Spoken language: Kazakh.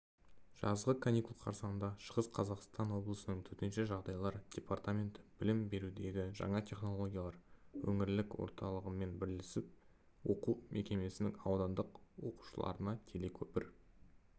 жазғы каникул қарсаңында шығыс қазақстан облысының төтенше жағдайлар департаменті білім берудегі жаңа технологиялар өңірлік орталығымен бірлесіп оқу мекемесінің аудандық оқушыларына телекөпір